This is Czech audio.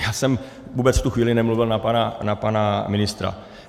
Já jsem vůbec v tu chvíli nemluvil na pana ministra.